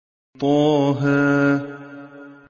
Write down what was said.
طه